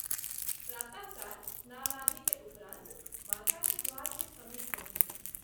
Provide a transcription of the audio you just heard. प्रात: काल स्नानादि के उपरांत माता के द्वार के समीप पहुँचलहुँ।